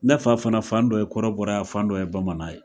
Ne fa fana fan dɔ ye kɔrɔbɔrɔ ye a fan dɔ ye bamanan ye.